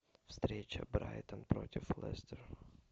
встреча брайтон против лестера